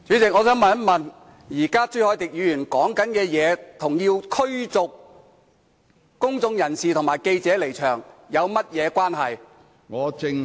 主席，我想問的是，朱凱廸議員發言的內容與要求新聞界及公眾人士離場有何關係？